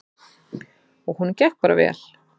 Og honum gekk bara vel.